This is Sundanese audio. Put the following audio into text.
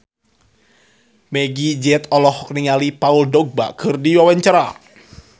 Meggie Z olohok ningali Paul Dogba keur diwawancara